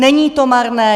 Není to marné.